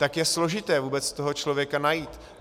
Tak je složité vůbec toho člověka najít.